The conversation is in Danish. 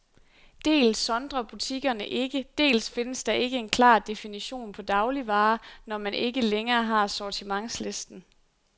Dels sondrer butikkerne ikke, dels findes der ikke en klar definition på dagligvarer, når man ikke længere har sortimentslisten.